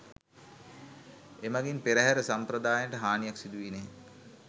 එමඟින් පෙරහර සාම්ප්‍රදායන්ට හානියක් සිදු වී නැහැ